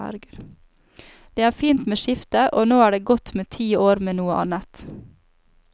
Det er fint med skifte, og nå er det godt med ti år med noe annet.